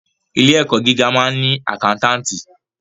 Ilé ẹ̀kọ́ gíga máa ń ni àkántàntì.